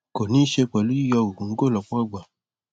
kò ní í ṣe pẹlú u yíyọ gògóńgò lọhpọ ìgbà